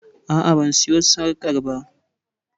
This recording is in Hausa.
A'a ban siyo sarƙar ba